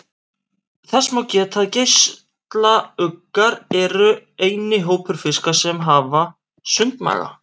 Þess má geta að geislauggar eru eini hópur fiska sem hafa sundmaga.